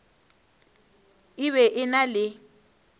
e be e na le